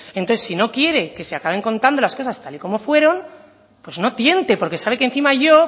entonces si no quiere que se acabe contando las cosas tal y como fueron pues no tiente porque sabe que encima yo